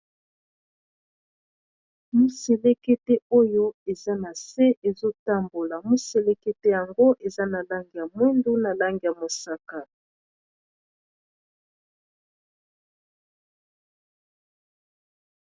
moselekete oyo eza na se ezotambola moselekete yango eza na lange ya mwindu na lange ya mosaka